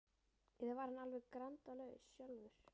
Eða var hann alveg grandalaus sjálfur?